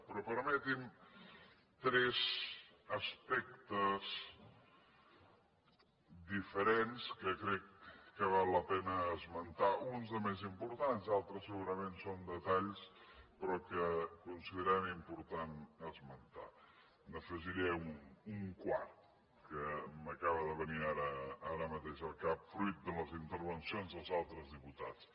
però permetin me tres aspectes diferents que crec que val la pena esmentar uns de més importants d’altres segurament són detalls però que considerem important esmentar los n’afegiré un quart que m’acaba de venir ara mateix al cap fruit de les intervencions dels altres diputats